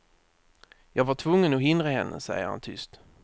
Jag var tvungen att hindra henne, säger han tyst.